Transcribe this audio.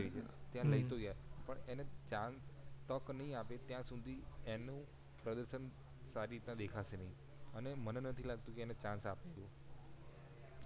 ત્યાં લઈ તો ગયા પણ chance તક નય આપે ત્યાં સુધી એનું પ્રદશન સારી રીતના દેખાશે નય અને મને નથી લાગતું એને chance આપે એવું